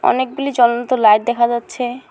অনেকগুলি জ্বলন্ত লাইট দেখা যাচ্ছে।